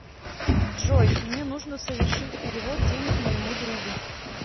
джой мне нужно совершить перевод денег моему другу